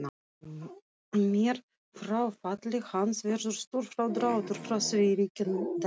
Með fráfalli hans verður stór frádráttur frá því ríkidæmi.